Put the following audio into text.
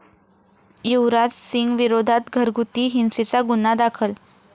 युवराज सिंगविरोधात घरगुती हिंसेचा गुन्हा दाखल